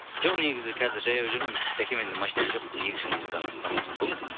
жоқ негізі қазір жаяу жүрмін жәке менде машина жоқ екі жылдан астам уақыт болды